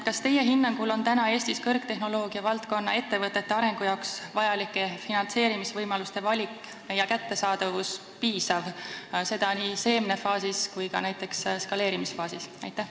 Kas teie hinnangul on praegu Eestis kõrgtehnoloogia valdkonna ettevõtete arengu jaoks vajalike finantseerimisvõimaluste valik ja kättesaadavus piisav, seda nii seemnefaasis kui ka näiteks eskaleerimisfaasis?